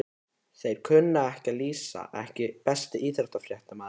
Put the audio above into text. Þeir sem kunna að lýsa EKKI besti íþróttafréttamaðurinn?